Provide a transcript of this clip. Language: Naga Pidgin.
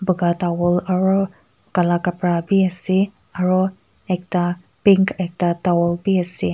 buga towel aru kala kapra bi ase aru ekta pink ekta towel bi ase.